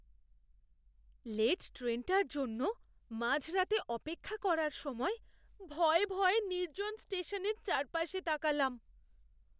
Late ট্রেনটার জন্য মাঝরাতে অপেক্ষা করার সময় ভয়ে ভয়ে নির্জন স্টেশনের চারপাশে তাকালাম।